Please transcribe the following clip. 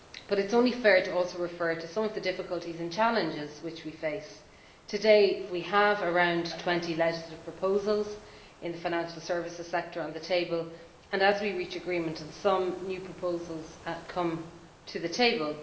It is only fair, however, to also refer to some of the difficulties and challenges we face. Today we have around twenty legislative proposals in the financial services sector on the table and as we reach agreement on some, new proposals come to the table.